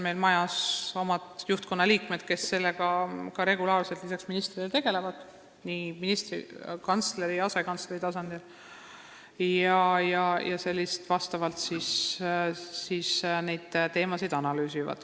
Meil on juhtkonnaliikmed, kes sellega lisaks ministrile nii kantsleri kui ka asekantsleri tasandil regulaarselt tegelevad ja neid teemasid analüüsivad.